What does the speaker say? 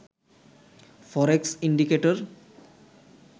forex indicator